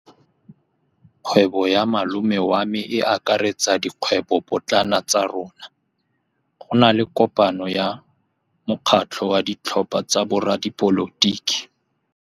Kgwêbô ya malome wa me e akaretsa dikgwêbôpotlana tsa rona. Go na le kopanô ya mokgatlhô wa ditlhopha tsa boradipolotiki.